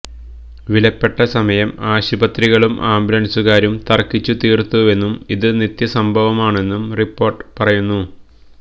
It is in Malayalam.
വിലപ്പെട്ട സമയം ആശുപത്രികളും ആംബുലന്സുകാരും തര്ക്കിച്ച് തീര്ത്തുവെന്നും ഇത് നിത്യസംഭവമാണെന്നും റിപ്പോര്ട്ട് പറയുന്നു